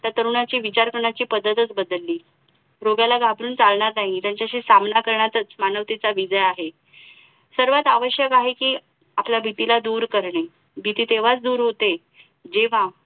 त्या तरुणाची विचार करण्याची पद्धतच बदलली. रोगाला घाबरून चालणार नाही त्याच्याशी सामना करण्यातच मानवतेचा विजय आहे सर्वात आवश्यक आहे कि आपल्या भीतीला दूर करणे. भिती तेव्हाच दूर होते जेव्हा